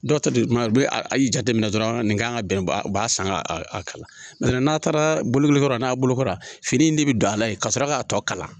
Dɔw ta de don u bɛ a y'i jateminɛ dɔrɔn nin kan ka bɛn ba san a kala n'a taara bolokoli yɔrɔ la n'a bolokora fini in de bɛ don a la yen ka sɔrɔ k'a tɔ kalan